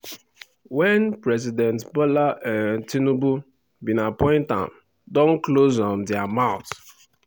wen president bola um tinubu bin appoint am don close um dia mouths.